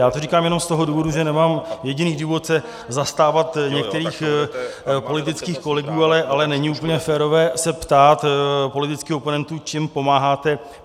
Já to říkám jenom z toho důvodu, že nemám jediný důvod se zastávat některých politických kolegů, ale není úplně férové se ptát politických oponentů, čím pomáháte.